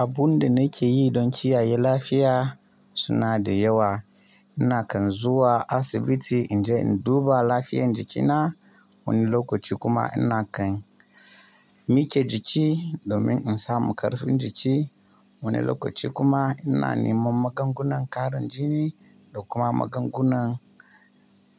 Abun da nake yi don kiyaye lafiya suna da yawa. Ina kan zuwa asibiti in je in duba lafiyan jikina wani lokaci kuma ina kan mike jiki domin in samu ƙarfin jiki. Wani lokaci kuma ina neman magungunan ƙarin jini da kuma magungunan.